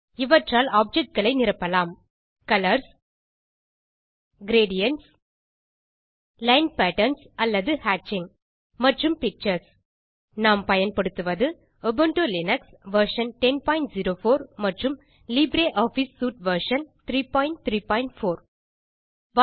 இவற்றால் ஆப்ஜெக்ட் களை நிரப்பலாம் கலர்ஸ் கிரேடியன்ட்ஸ் லைன் பேட்டர்ன்ஸ் அல்லது ஹேட்சிங் மற்றும் பிக்சர்ஸ் நாம் பயன்படுத்துவது உபுண்டு லினக்ஸ் வெர்ஷன் 1004 மற்றும் லிப்ரியாஃபிஸ் சூட் வெர்ஷன் 334